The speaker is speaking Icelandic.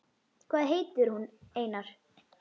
Hvað heitir hún, Einar?